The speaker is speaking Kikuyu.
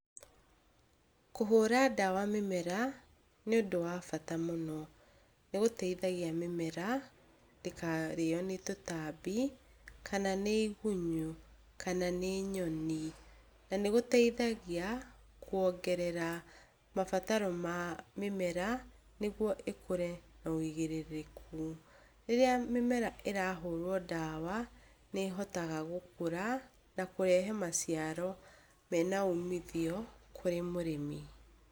Kũhũra ndawa mĩmera nĩũndũ wa bata mũno, nĩgũteithagia mĩmera ndĩkarĩo nĩ tũtambi, kana nĩ igunyũ, kana nĩ nyoni. Nanĩgũteithagia kwongera mabataro ma mĩmera, nĩguo ĩkũre na wĩigĩrĩrĩku. Rĩrĩa mĩmera ĩrahũrwo ndawa, nĩhotaga gũkũra na kũrehe macaro mena umithio kũrĩ mũrĩmi.